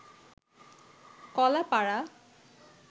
Kalapara